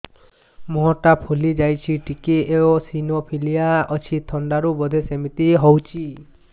ମୁହଁ ଟା ଫୁଲି ଯାଉଛି ଟିକେ ଏଓସିନୋଫିଲିଆ ଅଛି ଥଣ୍ଡା ରୁ ବଧେ ସିମିତି ହଉଚି